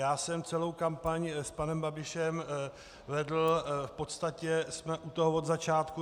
Já jsem celou kampaň s panem Babišem vedl, v podstatě jsme u toho od začátku.